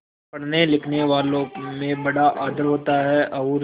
पढ़नेलिखनेवालों में बड़ा आदर होता है और